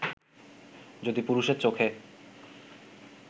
যদি পুরুষের চোখে